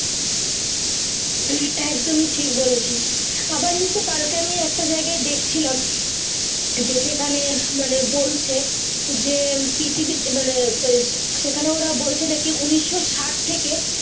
হম একদমই ঠিক বলেছিস আবার কালকে আমি একটা জায়গায় দেখছিলাম যে সে খানে মানে বলছে যে পৃথিবী তে মানে সেখানে ওরা বলছে নাকি উনিশশো ষআঠ থাকে।